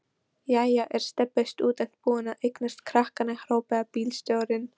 Jæja er Stebbi stúdent búinn að eignast krakka? hrópaði bílstjórinn.